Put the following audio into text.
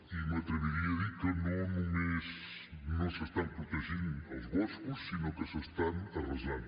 i m’atreviria a dir que no només no s’estan protegint els boscos sinó que s’estan arrasant